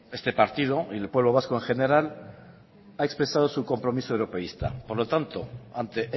este partido y el pueblo vasco en general ha expresado su compromiso europeísta por lo tanto ante